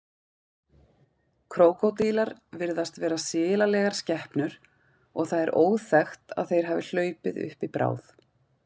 Krókódílar virðast vera silalegar skepnur og það er óþekkt að þeir hafi hlaupið uppi bráð.